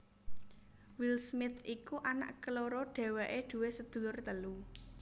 Will Smith iku anak keloro dhéwéké duwé sedulur telu